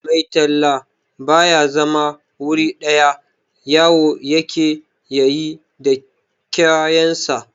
Mai talla ba ya zama wuri ɗaya, yawo ya ke yi da kayansa.